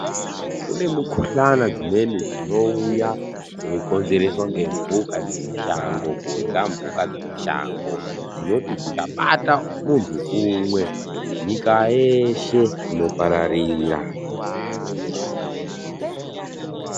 Kune mikuhlani dzimweni dzinenge dzeiuya dzinokonzereswa ngemhuka dzemushango ,kurya mbuka dzemushango dzinoti dzikabata muntu umwe nyika yeshe inopararira .